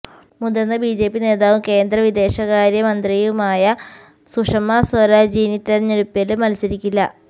മുതിര്ന്ന ബിജെപി നേതാവും കേന്ദ്ര വിദേശകാര്യ മന്ത്രിയുമായ സുഷമ സ്വരാജ് ഇനി തെരഞ്ഞെടുപ്പില് മത്സരിക്കില്ല